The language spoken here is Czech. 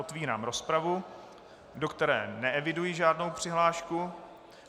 Otvírám rozpravu, do které neeviduji žádnou přihlášku.